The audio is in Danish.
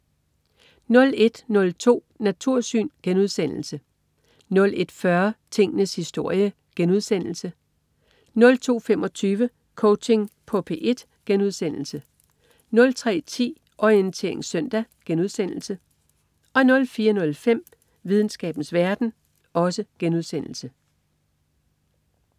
01.02 Natursyn* 01.40 Tingenes historie* 02.25 Coaching på P1* 03.10 Orientering søndag* 04.05 Videnskabens verden*